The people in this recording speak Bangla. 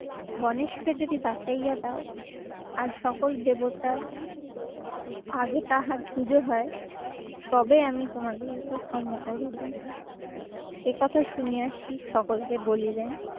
গণেশকে যদি বাছাইয়া দাও আর সকল দেবতার আগে তাহার পুজো হয় তবে আমি তোমাদেরকে ক্ষমা করবো। একথা শুনিয়া শিব সকলকে বলিলেন